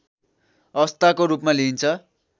अवस्थाको रूपमा लिइन्छ